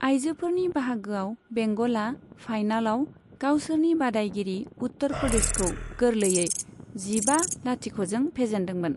आइजोफोरनि बाहागोआव बेंगलआ फाइनालाव गावसोरनि बादायगिरि उत्तर प्रदेशखौ गोरलैयै जिबा लाथिख'जों फेजेनदोंमोन।